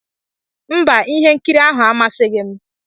Mba, ihe nkiri ahụ amasịghị m